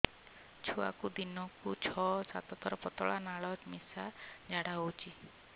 ଛୁଆକୁ ଦିନକୁ ଛଅ ସାତ ଥର ପତଳା ନାଳ ମିଶା ଝାଡ଼ା ହଉଚି